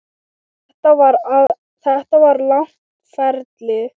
Þetta var langt ferli.